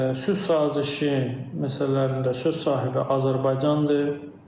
Sülh sazişi məsələlərində söz sahibi Azərbaycandır.